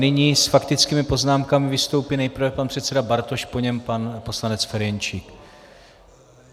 Nyní s faktickými poznámkami vystoupí nejprve pan předseda Bartoš, po něm pan poslanec Ferjenčík.